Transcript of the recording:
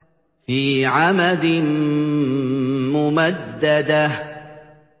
فِي عَمَدٍ مُّمَدَّدَةٍ